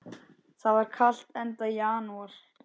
Það var kalt, enda janúar.